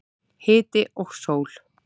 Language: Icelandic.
Hiti og sól.